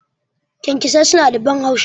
Kyankyasai suna da ban haushi.